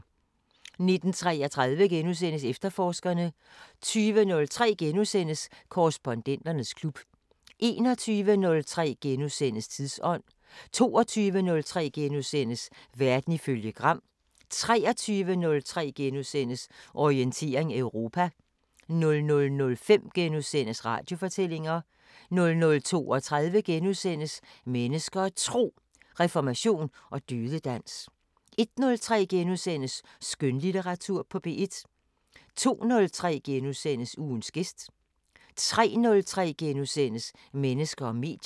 19:33: Efterforskerne * 20:03: Korrespondenternes klub * 21:03: Tidsånd * 22:03: Verden ifølge Gram * 23:03: Orientering Europa * 00:05: Radiofortællinger * 00:32: Mennesker og Tro: Reformation og dødedans * 01:03: Skønlitteratur på P1 * 02:03: Ugens gæst * 03:03: Mennesker og medier *